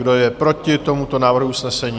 Kdo je proti tomuto návrhu usnesení?